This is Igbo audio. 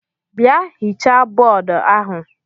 Bịa hichaa bọọdụ ahụ!